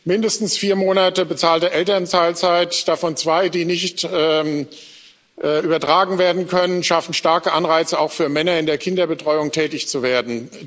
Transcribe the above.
Mindestens vier Monate bezahlte Elternzeit, davon zwei, die nicht übertragen werden können, schaffen starke Anreize auch für Männer, in der Kinderbetreuung tätig zu werden.